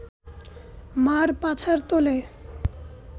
মা’র পাছার তলে